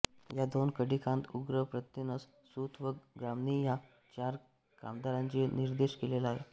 त्या दोन कंडिकांत उग्र प्रत्येनस् सूत व ग्रामणी ह्या चार कामदारांचा निर्देश केलेला आहे